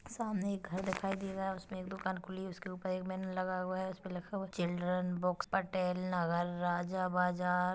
सामने एक घर दिखाई दे रहा है उसपे एक दुकान खुली उसके ऊपर एक बैनर लगा हुआ है उसपे लिखा हुआ है चिल्ड्रन बुक्स पटेल नगर राजा बाज़ार--